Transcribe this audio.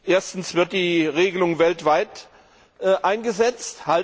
Erstens Wird die Regelung weltweit eingesetzt?